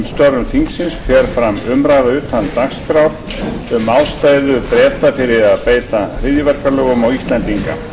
störf þingsins fer fram umræða utan dagskrár um ástæðu breta fyrir að beita hryðjuverkalögum á íslendinga